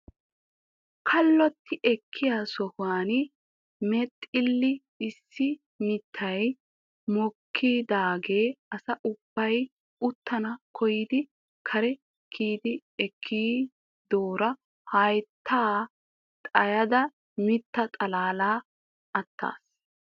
Kaloti ekkiya sohuwan mexile issi mittay mokkidaaga asa ubbay uttana koyyidi kari karidi ekkidoora haytta xayyada mitta xalaalay attiis .